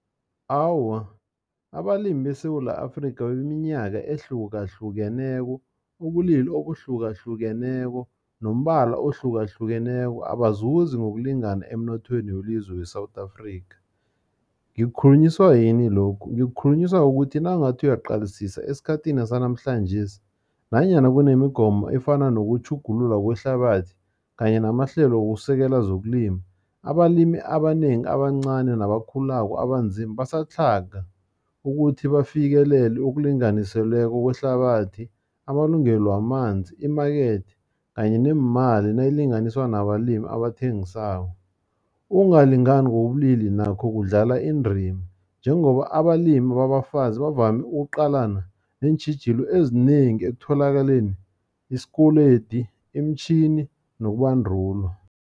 Awa, abalimi beSewula Afrika beminyaka ehlukahlukeneko, ubulili obuhlukahlukeneko, nombala ohlukahlukeneko, abazuzi ngokulingana emnothweni welizwe we-South Africa. Ngikukhulunyiswa yini lokhu, ngikukhulunyiswa ukuthi, nawungathi uyaqalisisa esikhathini sanamhlanjesi, nanyana kunemigomo efana nokutjhugulula kwehlabathi, kanye namahlelo wokusekela zokulima. Abalimi abanengi abancani, nabakhulako, abanzima basatlhaga, ukuthi bafikelele okulinganiseleko kwehlabathi, amalungelo wamanzi, i-market, kanye neemali nayilinganiswa nabalimi abathengisako. Ukungalingani ngokobulili nakho kudlala indima, njengoba abalimi babafazi bavame ukuqalana neentjhijilo ezinengi, ekutholakaleni isikoledi, iimtjhin,i nokubandulwa.